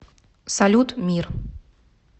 салют мир